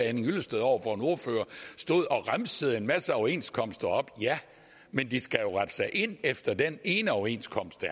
henning hyllested over for en ordfører stod og remsede en masse overenskomster op ja men de skal jo rette sig ind efter den ene overenskomst